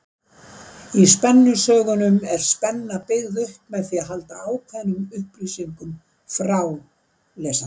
Í spennusögunum er spenna byggð upp með því að halda ákveðnum upplýsingum frá lesanda.